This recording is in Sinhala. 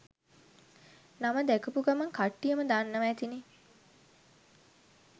නම දැකපු ගමන් කට්ටියම දන්නවා ඇතිනේ